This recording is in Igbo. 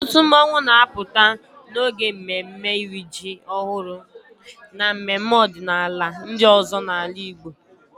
Ọtụtụ mmọnwụ na-apụta n'oge mmemme iri ji ọhụrụ na mmemme ọdịnala ndị ọzọ n'ala Igbo.